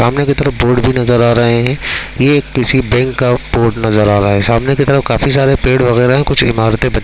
सामने की तरफ बोर्ड भी नजर आ रहे है ये किसी बैंक का बोर्ड नजर आ रहा है सामने की तरफ काफी सारे पेड़ वगैरह है कुछ इमारते बनी--